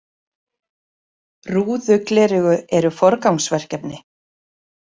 Rúðugleraugu eru forgangsverkefni.